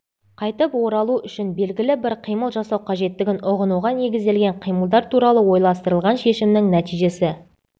қайтып оралу үшін белгілі бір қимыл жасау қажеттігін ұғынуға негізделген қимылдар туралы ойластырылған шешімнің нәтижесі